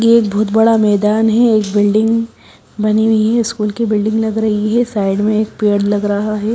ये एक बहोत बड़ा मैदान है एक बिल्डिंग बनी हुई है स्कूल की बिल्डिंग लग रही है साइड में एक पेड़ लग रहा है।